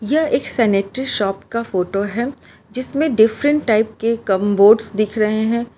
यह एक sanitary shop का फोटो है जिसमें डिफरेंट टाइप के कम बोड्स दिख रहे हैं।